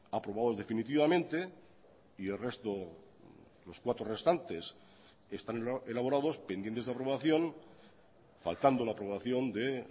aprobados definitivamente y el resto los cuatro restantes están elaborados pendientes de aprobación faltando la aprobación de